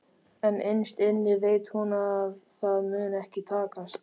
En innst inni veit hún að það mun ekki takast.